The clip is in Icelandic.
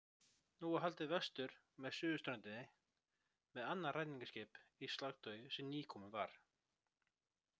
Nú var haldið vestur með suðurströndinni með annað ræningjaskip í slagtogi sem nýkomið var.